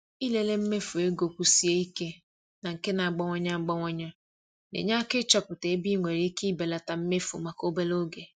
Ịlele mmefu ego kwụsie ike na nke na-agbanwe agbanwe na-enye aka ịchọpụta ebe ị nwere ike belata mmefu maka obere oge.